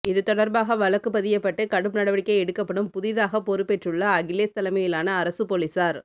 இது தொடர்பாக வழக்குப்பதியப்பட்டு கடும் நடவடிக்கை எடுக்கப்படும் புதிதாக பொறுப்பேற்றுள்ள அகிலேஷ் தலைமையிலான அரசு போலீசார்